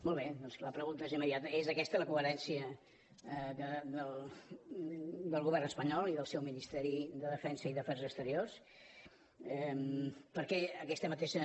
molt bé doncs la pregunta és immediata és aquesta la coherència del govern espanyol i del seus ministeris de defensa i d’afers exteriors per què aquesta mateixa